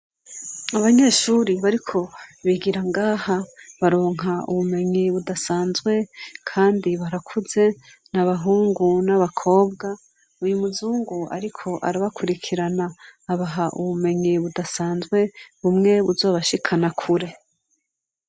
Abanyeshuri bariko bigira ngaha baronka ubumenyi budasanzwe kandi barakuze, n'abahungu n'abakobwa. Uyu muzungu ariko arabakurikirana abaha ubumenyi budasanzwe bumwe buzobashikana kure.